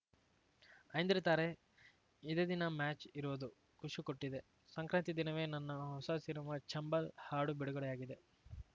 ಐಂದ್ರಿತಾ ರೇ ಇದೇ ದಿನ ಮ್ಯಾಚ್‌ ಇರೋದು ಖುಷಿ ಕೊಟ್ಟಿದೆ ಸಂಕ್ರಾಂತಿ ದಿನವೇ ನನ್ನ ಹೊಸ ಸಿನಿಮಾ ಚಂಬಲ್‌ ಹಾಡು ಬಿಡುಗಡೆಯಾಗಿದೆ